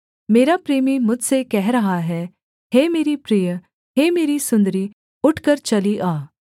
मेरा प्रेमी मुझसे कह रहा है हे मेरी प्रिय हे मेरी सुन्दरी उठकर चली आ